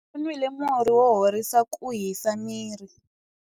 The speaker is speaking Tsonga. U nwile murhi wo horisa ku hisa miri.